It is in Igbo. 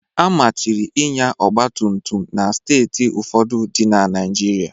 Amachiri ịnya ọgba tum tum na Steeti ụfọdụ dị na Naịjirịa